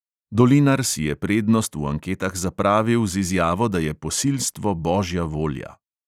Dolinar si je prednost v anketah zapravil z izjavo, da je posilstvo božja volja.